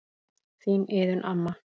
Þín Iðunn amma.